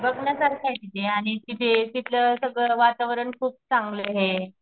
बघण्यासारखाये तिथे आणि तिथे तिथलं सगळं वातावरण खूप चांगलं हे.